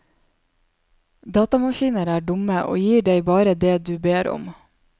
Datamaskiner er dumme og gir deg bare det du ber om.